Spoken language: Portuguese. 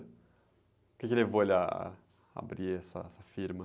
O quê que levou ele ah, a abrir essa, essa firma?